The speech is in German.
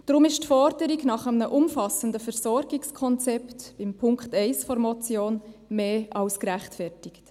Deshalb ist die Forderung nach einem umfassenden Versorgungskonzept in Punkt 1 der Motion mehr als gerechtfertigt.